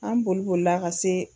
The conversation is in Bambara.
An bolibolila ka se.